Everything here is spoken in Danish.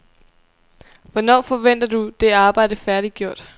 Hvornår forventer du det arbejde færdiggjort?